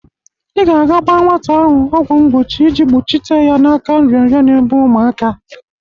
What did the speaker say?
I ga-aga gba nwata ahụ ọgwọ mgbochi iji kpuchite ya n'aka nrịanrịa n'egbụ uMụaka.